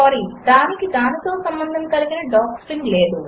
sorry దానికి దానితో సంబంధము కలిగిన డాక్స్ట్రింగ్ లేదు